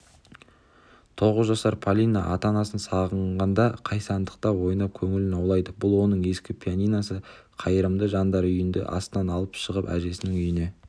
тоғыз жасар полина ата-анасын сағынғанда күйсандықта ойнап көңілін аулайды бұл оның ескі пианиносы қайырымды жандар үйінді астынан алып шығып әжесінің үйіне